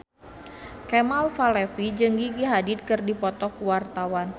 Kemal Palevi jeung Gigi Hadid keur dipoto ku wartawan